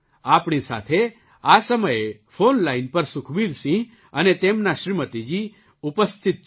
આપણી સાથે આ સમયે ફૉન લાઇન પર સુખબીરસિંહ અને તેમનાં શ્રીમતીજી ઉપસ્થિત છે